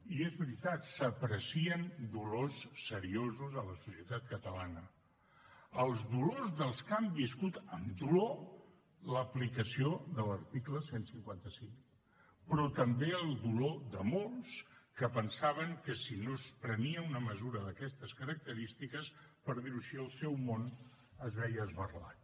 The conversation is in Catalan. i és veritat s’aprecien dolors seriosos a la societat catalana els dolors dels que han viscut amb dolor l’aplicació de l’article cent i cinquanta cinc però també el dolor de molts que pensaven que si no es prenia una mesura d’aquestes característiques per dir ho així el seu món es veia esberlat